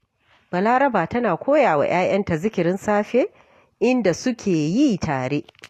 Balaraba tana koya wa ‘ya’yanta zikirin safe, inda suke yi tare